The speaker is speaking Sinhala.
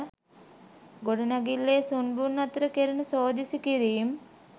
ගොඩනැගිල්ලේ සුන්බුන් අතර කෙරෙන සෝදිසි කිරීම්